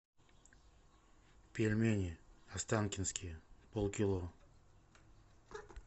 пельмени останкинские полкило